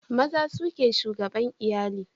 Maza su ke shugaban iyali